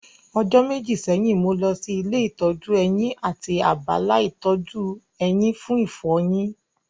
Ọjọ́ méjì sẹ́yìn, mo lọ sí ilé ìtọ́jú eyín àti abala ìtọ́jú eyín fún ìfọyin